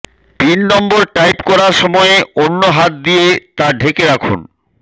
pin number type করার সময়ে অন্য হাত দিয়ে তা ঢেকে রাখুন